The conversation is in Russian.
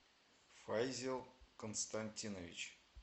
файзел константинович